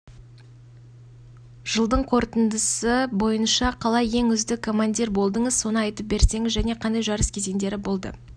ол ернеуде ілініп тұрды біз тез әрекет жасап автобаспалдақтың көмегімен зардап шегушіні жерге түсірдік те